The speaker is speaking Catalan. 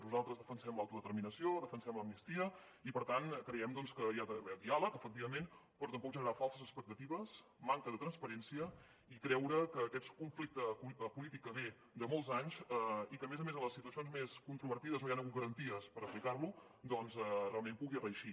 nosaltres defensem l’autodeterminació defensem l’amnistia i per tant creiem que hi ha d’haver diàleg efectivament però tampoc generar falses expectatives manca de transparència i creure que aquest conflicte polític que ve de molts anys i que a més a més en les situacions més controvertides no hi han hagut garanties per aplicar lo doncs realment pugui reeixir